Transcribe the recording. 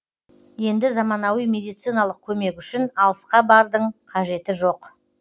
енді заманауи медициналық көмек үшін алысқа бардың қажет жоқ